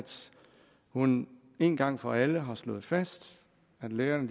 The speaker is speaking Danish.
hun én gang for alle har slået fast at lærerne